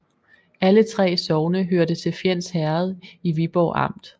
Alle 3 sogne hørte til Fjends Herred i Viborg Amt